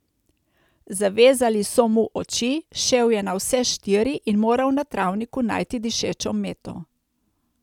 Zavezali so mu oči, šel je na vse štiri in moral na travniku najti dišečo meto.